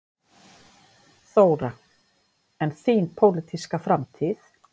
Þóra: En þín pólitíska framtíð?